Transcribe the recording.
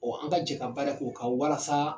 an ka jɛ ka baara kɛ o kan walasa.